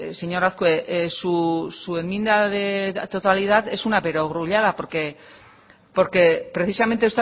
señor azkue su enmienda de totalidad es una perogrullada porque precisamente